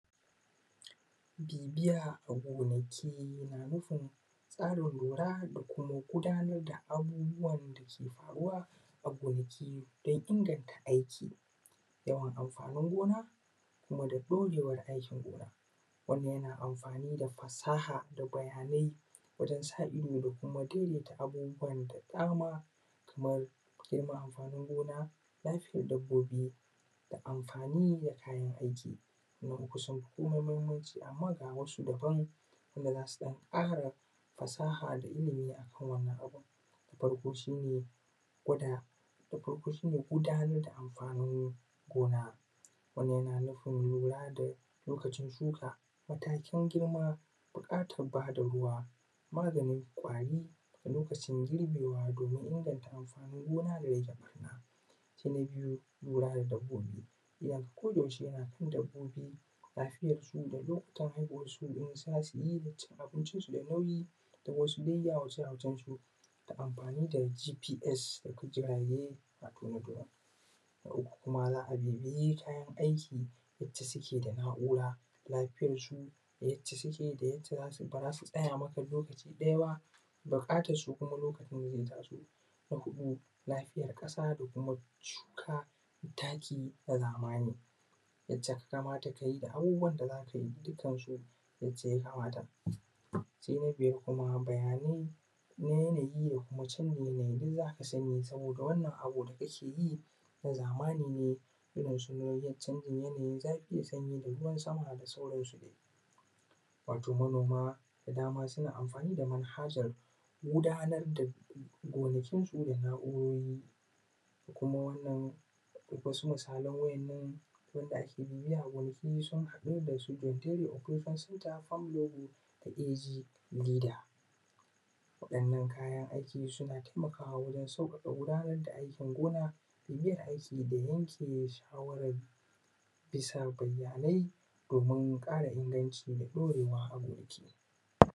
Bibiya a gonaki yana nufin tsarin lura da kuma gudanar da abubuwan da suke faruwa a gonaki don inganta aiki, yawan amfanin gona kuma da ɗorewar aikin gonar. Wannan yana amfani da fasaha da bayanai wajen sa ido da kuma daidaita abubuwan da dama kamar girman amfanin gona, lafiyar dabbobi da amfani da kayan aiki, wannan sun fi komai muhimmanci, amma ga wasu daban wanda zasu ɗan ƙara fasaha da ilmi akan wannan abun. Na farko shi ne gudanar da amfanin gona, wannan yana nufin lura da lokacin shuka, matakin girma, buƙatar ba da ruwa, maganin ƙwari da loakcin girbewa domin inganta amfanin gona da rage ɓarna. Sai na biyu, lura da dabbobi idon ka koda yaushe yana kan dabbobi, lafiyar su da lokutan haihuwan su in zasuyi da cin abincin su da nauyi da wasu dai yawace-yawacen su, ta amfani da GPS da kuma jirage ko kuma Drone. Na uku kuma za a bibiyi kayan aiki wacce suke da na’ura lafiyar su da yacce bara su tsaya maka lokaci ɗaya ba, buƙatar su kuma lokaci zai taso. Na huɗu, lafiyar ƙasa da kuma shuka taki na zamani, yace ka ga ya kamata kayi abubuwan da zakayi dukkan su yace ya kamata. Sai na biyar kuma bayani na yanayi da kuma canji na yanayi duk zaka sani, saboda wannan abu da kake yi na zamani ne, irin su canjin yanayin zafi da ruwan sama da sauran su dai. Wato manoma da dama suna amfani da manhajar gudanar da gonakin su da na’urori da kuma wasu misalan waɗannan da ake bibiyar gonaki sun haɗu da su Teri opekan center, farm logo da AG leader. Waɗannan kayan aiki suna taimakawa wajen sauƙaƙa gudanar da aikin gona, yin aiki da yanke shawara bisa bayanai domin ƙara inganci da ɗorewa a gonaki.